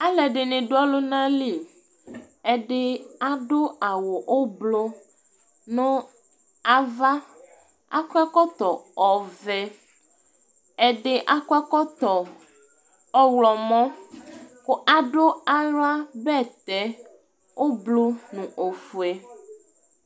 ɑlụɛɗiɲi ɗụ ɔlụɲɑli ɛḍi ɑɗụ ɑwω ũblụɲụ ɑvɑ ɑkɔɛkọto ɔvẽ ɛɗi ɑkɔ ɛkõto ɔhlomɔ ku ɑɗụ ɑhlɑbɛtɛ ũblụ ɲụ õfuɛ